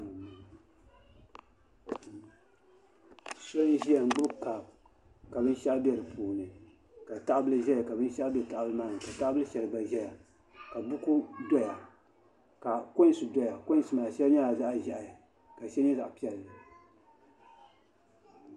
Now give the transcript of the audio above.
So n ʒiya n gbuni kaap ka binshaɣu bɛ di puuni ka tahabili ʒɛya ka binshaɣu bɛ tahabili maa ni ka taha bili shɛli gba ʒɛya ka buku doya ka koins doya koins maa shɛli nyɛla zaɣ ʒiɛhi ka shɛli nyɛ zaɣ piɛlli